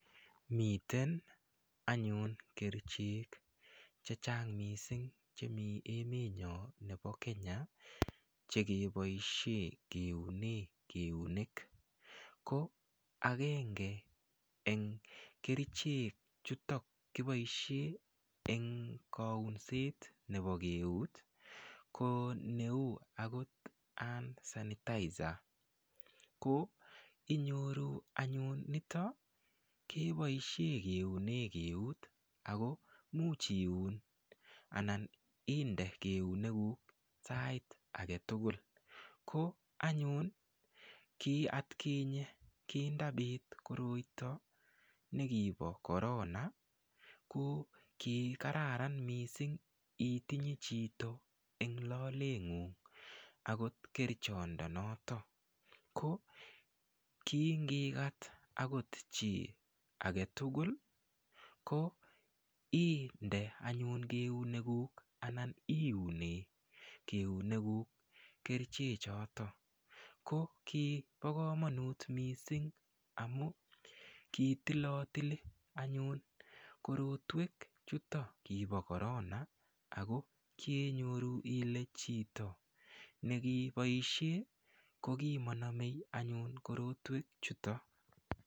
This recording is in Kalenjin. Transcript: Miten anyun kerichek chechang' mising' chemi emenyo nebo Kenya chekeboishe keune keunek ko agenge eng' kerichek chutok kiboishe eng' kaunset nebo eut ko neu akot hand sanitizer ko inyoru anyun nito keboishe keune keut ako muuch iun anan inde keunekun sait agetugul ko anyun ki atkinye kindabit koroito nekibo korona ko kikararan mising' itinye chito eng' loleng'ung' akot kerichondonoto ko kingikat akot chi agetugul ko inde anyun keunekuk anan iune keunekuk keriche choto ko kibo kamanut mising' amun kitilotili anyun korotwek chitok kibo korona ako kyenyoru ile chito nekiboishe ko kimakonomei anyun korotwek chuton